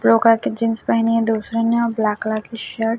blue colour की jeans पहनी है दूसरे ने ब्लैक कलर की शर्ट --